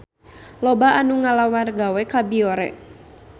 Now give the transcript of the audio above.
Loba anu ngalamar gawe ka Biore